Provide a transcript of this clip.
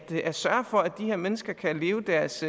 til at sørge for at de her mennesker kan leve deres